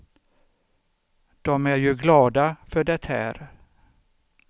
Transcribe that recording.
Dom är ju glada för det här.